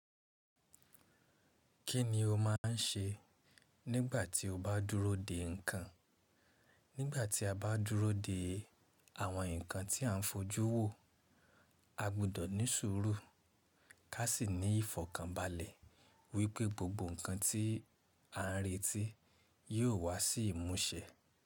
Kí ni o máà ń ṣe nígbà tí o bá dúró dè nǹkan? Nígbà tí a bá dúró de àwọn nǹkan tí à ń fojú wò, a gbúdọ̀ ní sùúrù ká sì ní ìfọ̀kànbalẹ̀ wípé gbogbo nǹkan tí à ń retí yíó wá sí ìmúṣẹ.